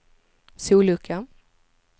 sollucka